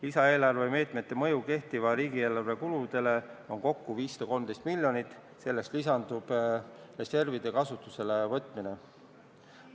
Lisaeelarve meetmete mõju kehtiva riigieelarve kuludele on kokku 513 miljonit, sellele lisandub reservide kasutusele võtmine.